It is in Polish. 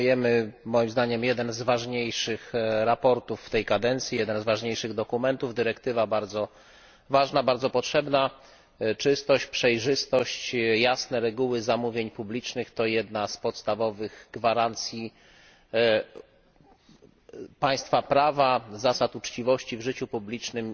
Przyjmujemy, moim zdaniem, jedno z ważniejszych sprawozdań w tej kadencji, jeden z ważniejszych dokumentów. Dyrektywa ta jest bardzo ważna i bardzo potrzebna. Czystość, przejrzystość, jasne reguły zamówień publicznych to jedne z podstawowych gwarancji państwa prawa, zasad uczciwości w życiu publicznym